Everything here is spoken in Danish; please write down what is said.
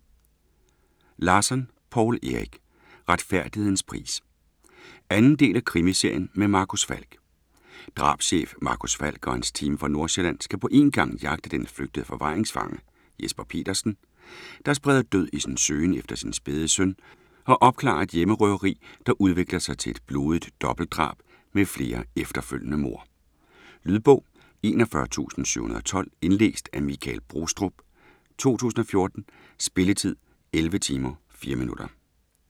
Larsson, Poul Erik: Retfærdighedens pris 2. del af krimiserien med Marcus Falck. Drabschef Marcus Falck og hans team fra Nordsjælland skal på én gang jagte den flygtede forvaringsfange Jesper Petersen, der spreder død i sin søgen efter sin spæde søn, og opklare et hjemmerøveri, der udvikler sig til et blodigt dobbeltdrab med flere efterfølgende mord. Lydbog 41712 Indlæst af Michael Brostrup, 2014. Spilletid: 11 timer, 4 minutter.